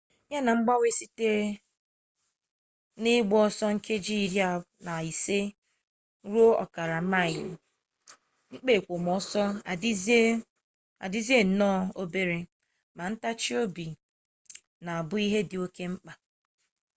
ya na ngbanwe site n'ịgba ọsọ nkeji iri na ise ruo ọkara maịlị mkpa ekwomọsọ adịzie nnọọ obere ma ntachi obi na-abụ ihe dị oke mkpa